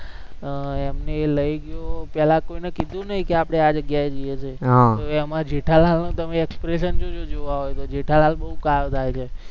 અમ એમને એ લઇ ગયો, પેલા કોઈને કીધું નઈ કે આપણે આ જગ્યાએ જઈએ છીએ એમાં જેઠાલાલના તમે expression જોજો જોવા હોય તો, જેઠાલાલ બોવ ખાર ખાય છે